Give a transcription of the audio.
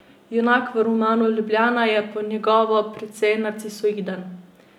Junak v romanu Ljubljana je po njegovo precej narcisoiden.